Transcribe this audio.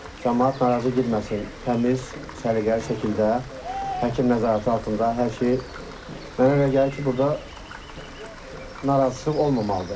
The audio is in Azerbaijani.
Camaat narazı getməsin, təmiz, səliqəli şəkildə həkim nəzarəti altında hər şey mənə elə gəlir ki, burda narazıçılıq olmamalıdır.